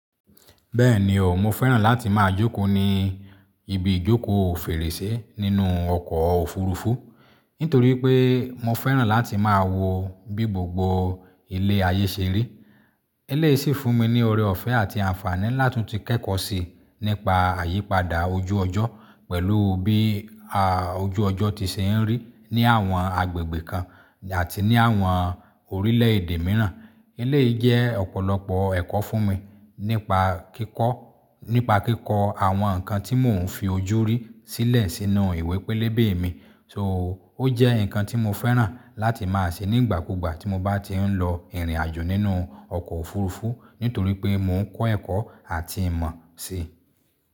Bẹ́ẹ̀ni o, mo fẹ́ràn láti máa jókòó ní ibi ìjókòó fèrèsé nínú ọkọ̀ òfurufú, nítorí pé mo fẹ́ràn láti máa wo bí gbogbo ilẹ̀ ayé ṣe rí. Eléyìí sì fún mi ní ọrẹ ọ̀fẹ́ àti àǹfààní ńlá tí mo ti kẹ́kọ̀ọ́ sí nípa àyípadà ojú ọjọ́ pẹ̀lú bí a ojú ọjọ́ ti ṣe ń rí ní àwọn agbègbè kan àti ní àwọn orílẹ̀èdè mìíràn. Eleyii je òpòlopò èkó fún mi nípa kíkó àwon nnkan ti mo n fojú ri sílè sínú ìwé pélébé mi. So ó jẹ́ nǹkan tí mo fẹ́ràn láti máa ṣe nígbà kúgbà tí mo bá ti ń lọ ìrìnàjò nínú ọkọ̀ òfurufú nítorí pé mò ń kọ́ ẹ̀kọ́ àti ìmọ̀ si.